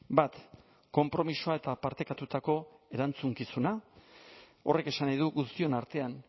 bat konpromisoa eta partekatutako erantzukizuna horrek esan nahi du guztion artean